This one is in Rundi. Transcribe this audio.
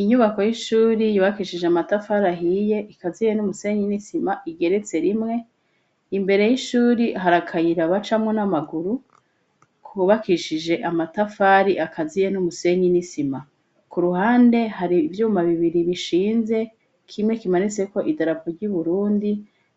Inyubako y'ishuri yubakishije amatafari ahiye ikaziye n'umusenyi n'isima igeretse rimwe imbere y'ishuri hari akayira bacamwo n'amaguru kubakishije amatafari akaziye n'umusenyi n'isima ku ruhande hari ivyuma bibiri bishinze kimwe kimanitseko idarapo ry'uburundi